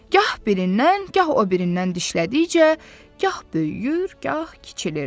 Gah birindən, gah o birindən dişlədikcə, gah böyüyür, gah kiçilirdi.